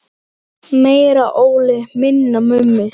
Meira Óli, minna Mummi!